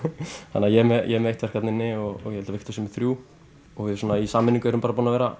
þannig að ég er með eitt verk þarna inni og ég held að Viktor sé með þrjú og við í sameiningu erum búin að vera